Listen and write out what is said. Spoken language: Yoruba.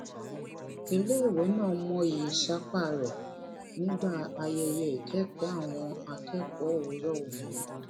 iléèwé náà mọyì ìsapá rẹ nígbà ayẹyẹ ìkékòó àwọn akékòó òwúrò òní